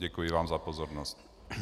Děkuji vám za pozornost.